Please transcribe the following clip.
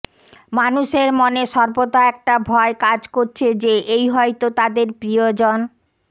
মানুষের মনে সর্বদা একটা ভয় কাজ করছে যে এই হয়তো তাদের প্রিয়জন